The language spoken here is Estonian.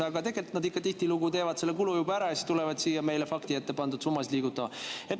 Aga tegelikult nad ikka tihtilugu teevad selle kulu juba ära ja siis tulevad siia meile faktina ette pandud summasid liigutama.